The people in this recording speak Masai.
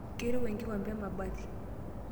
Keirowua enkikombe emabati.